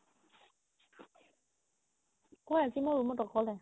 কুৱা আজি মই room ত অকলে